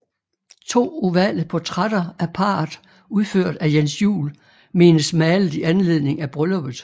To ovale portrætter af parret udført af Jens Juel menes malet i anledning af brylluppet